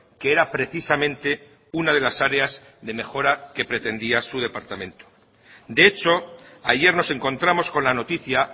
que era precisamente una de las áreas de mejora que pretendía su departamento de hecho ayer nos encontramos con la noticia